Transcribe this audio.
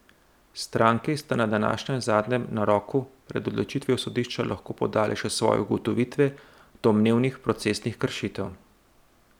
Stranki sta na današnjem zadnjem naroku pred odločitvijo sodišča lahko podali še svoje ugotovitve domnevnih procesnih kršitev.